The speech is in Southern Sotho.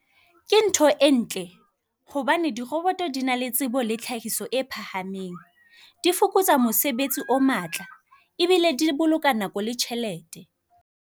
Ke ntho e ntle hobane diroboto di na le tsebo le tlhahiso e phahameng. Di fokotsa mosebetsi o matla ebile di boloka nako le tjhelete.